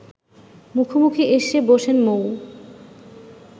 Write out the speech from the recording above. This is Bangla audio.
মুখোমুখি এসে বসেন মৌ